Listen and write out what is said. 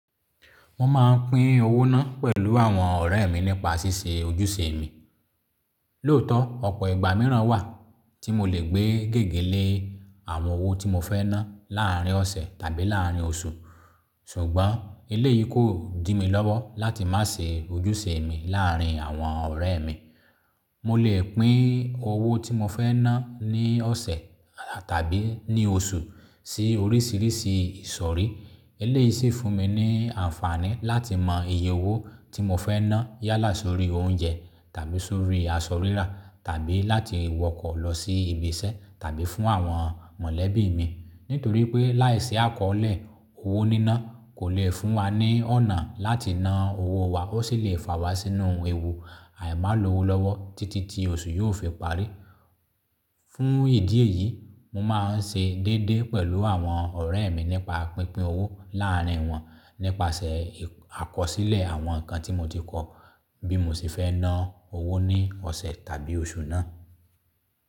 Mo máa ń pín owó ná pẹ̀lú àwọn ọ̀rẹ́ mi nípa ṣíṣe ojúṣe mi. Lóòótọ́, ọ̀pọ̀ ìgbà mìíràn wà tí mo lè gbé gègé lé àwọn owó tí mo fẹ́ ná láàárín ọ̀sẹ̀ tàbí láàárín oṣù. Ṣùgbọ́n eléyìí kò dì mi lọ́wọ́ láti má ṣe ojúṣe mi láàárín àwọn ọ̀rẹ́ mi. Mo lè pín owó tí mo fẹ́ ná ní ọ̀sẹ̀ tàbí ní oṣù sí oríṣìíríṣìí ìsọ̀rí. Eléyìí sì fún mi ní àǹfààní láti mọ iye owó tí mo fẹ́ ná yálà sórí oúnjẹ tàbí sórí aṣọ rírà tàbí láti wọkọ̀ lọ sí ibi iṣẹ́ tàbí fún àwọn mọ̀lẹ́bí mi. Nítorí pé láìsí àkọọ́lé owó níná kò lè fún wa ní ọ̀nà láti ná owó wa, ó sì lè fà wá sínú ewu àìmálowó lọ́wọ́ títí tí oṣù yóò fi parí. Fún ìdí èyí, mo máa ń ṣe déédéé pẹ̀lú àwọn ọ̀rẹ́ mi nípa pínpín owó láàárín wọn nípasẹ̀ àkọsílẹ̀ àwọn nǹkan tí mo ti kọ bí mo sì fẹ́ ná owó ní ọ̀sẹ̀ tàbí oṣù náà.